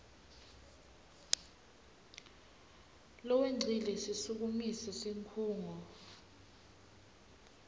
lowengcile sisukumise sikhungo